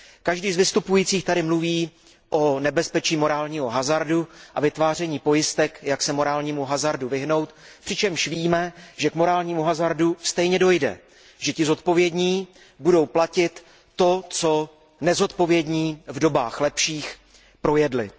Každý z vystupujících tady mluví o nebezpečí morálního hazardu a vytváření pojistek, jak se morálnímu hazardu vyhnout, přičemž víme, že k morálnímu hazardu stejně dojde, že ti zodpovědní budou platit to, co nezodpovědní v dobách lepších projedli.